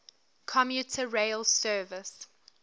commuter rail service